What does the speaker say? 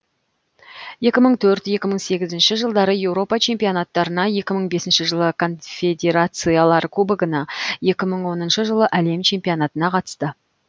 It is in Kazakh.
екі мың төрт екі мың сегізінші жылдары еуропа чемпионаттарына екі мың бесінші жылы конфедерациялар кубогына екі мың оныншы жылы әлем чемпионатына қатысты